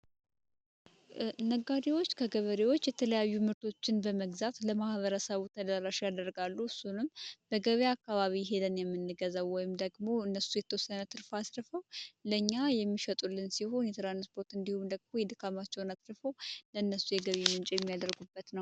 ነጋዴዎች ከገበሬዎች የተለያዩ ምርቶችን በመግዛት ለማህበረሰቡ ተዳራሻ ያደርጋሉ። እሱንም በገቤ አካባቢ ሄደን የምንገዘው ወይም ደግሞ እነሱ የተወሰነ ትርፋ አትርፈው ለኛ የሚሸጡልን ሲሆን የትራንስፖርት እንዲሁም ደግሞ የድካማቸውን አትርፈው ለእነሱ የገቢ ምንጭም ያደርጉበት ነው።